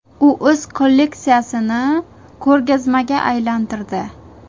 U o‘z kolleksiyasini ko‘rgazmaga aylantirdi.